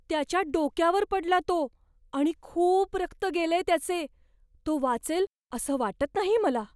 त्याच्या डोक्यावर पडला तो आणि खूप रक्त गेलेय त्याचे. तो वाचेल असं वाटत नाही मला.